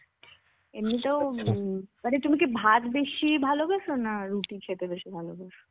এমনিতেও মানে তুমি কি ভাত বেশি ভালোবাসো? না রুটি খেতে বেশি ভালোবাসো?